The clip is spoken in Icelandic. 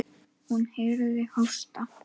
Hún heyrði hósta.